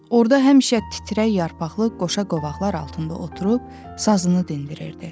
Orada həmişə titrək yarpaqlı qoşa qovaqlar altında oturub, sazını dindirirdi.